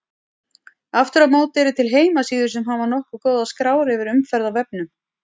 Aftur á móti eru til heimasíður sem hafa nokkuð góðar skrár yfir umferð á vefnum.